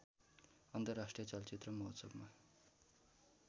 अन्तर्राष्ट्रिय चलचित्र महोत्सवमा